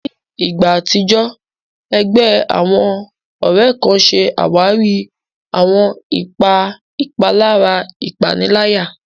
Ní ìgbà àtijọ́, ẹgbẹ́ àwọn ọ̀rẹ́ kan ṣe àwárí àwọn ipa ìpalára ìpaniláyà.